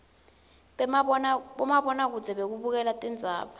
bomabona kudze bekubukela tindzaba